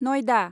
नयदा